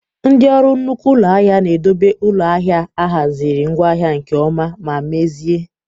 Ndị orụ nnukwu ụlọ ahịa na-edobe ụlọ ahịa ahiaziri ngwaahia nke ọma ma mezie